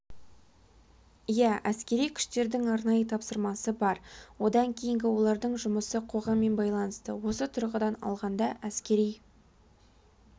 иә әскери күштердің арнайы тапсырмасы бар одан кейінгі олардың жұмысы қоғаммен байланысты осы тұрғыдан алғанда әскери